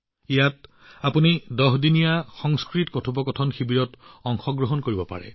ইয়াত আপুনি ১০ দিনীয়া সংস্কৃত কথোপকথন শিবিৰত অংশগ্ৰহণ কৰিব পাৰিব